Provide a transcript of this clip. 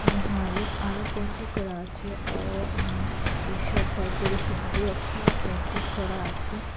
এবং ওয়ালে আরও পেইন্টিং করা আছে অ আ এইসব তারপরে হিন্দি অক্ষরও পেইন্টিং করা আছে।